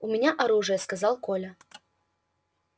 у меня оружие сказал коля